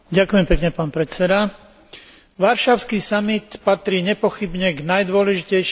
Varšavský samit patrí nepochybne k najdôležitejším udalostiam poľského predsedníctva.